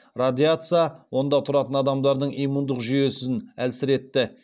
радиаца онда тұратын адамдардың иммундық жүйесін әлсіретті